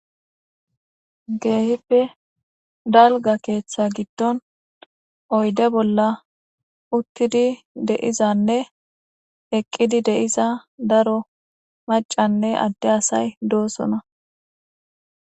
Keehippe dalga keeththa giddon oyde bolla uttidi deizanne eqqidi deiza daro macanne adde asay doosona.